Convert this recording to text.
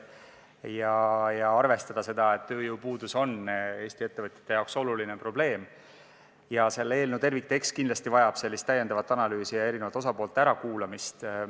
Samuti tuleb arvestada seda, et tööjõupuudus on Eesti ettevõtjate jaoks oluline probleem ning selle eelnõu terviktekst vajab kindlasti täiendavat analüüsi ja eri osapoolte ärakuulamist.